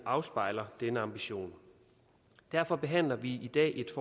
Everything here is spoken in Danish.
afspejler denne ambition derfor behandler vi i dag et